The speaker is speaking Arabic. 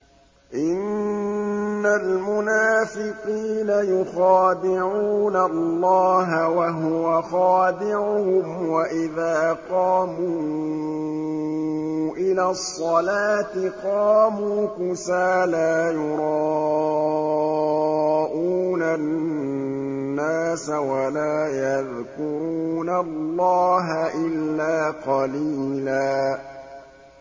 إِنَّ الْمُنَافِقِينَ يُخَادِعُونَ اللَّهَ وَهُوَ خَادِعُهُمْ وَإِذَا قَامُوا إِلَى الصَّلَاةِ قَامُوا كُسَالَىٰ يُرَاءُونَ النَّاسَ وَلَا يَذْكُرُونَ اللَّهَ إِلَّا قَلِيلًا